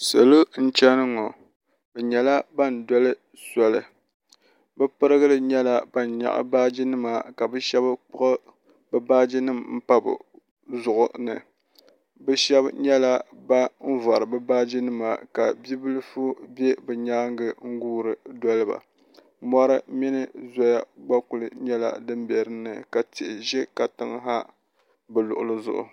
Salo n chɛni ŋɔ bi yɛla bani doli soli bi pirigili nyɛla bani yɛɣi baaji nima ka bi ahɛba kpuɣi bi baaji nima n pa bi zuɣu ni bi shɛba nyɛla bani vori bi baaji nima ka bibilifu bɛ bi yɛanga n guuri doli ba mori mini zoya gba kuli nyɛla dini bɛ dinni ka tihi zɛ katiŋ ha bi luɣili zuɣu.